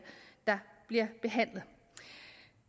der bliver behandlet